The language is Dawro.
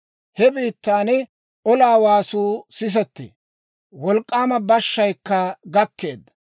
He biittan olaa waasuu sisettee; wolk'k'aama bashshayikka gakkeedda.